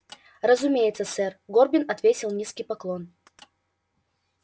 разумеется сэр горбин отвесил низкий поклон